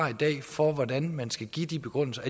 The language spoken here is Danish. for hvordan man skal give de begrundelser